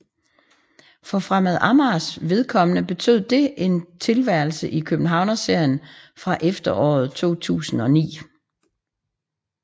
For Fremad Amagers vedkommende betød det en tilværelse i Københavnsserien fra efteråret 2009